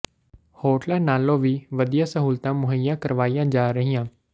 ਹੋਟਲਾਂ ਨਾਲੋਂ ਵੀ ਵਧੀਆ ਸਹੂਲਤਾਂ ਮੁਹੱਈਆ ਕਰਵਾਈਆਂ ਜਾ ਰਹੀਆਂ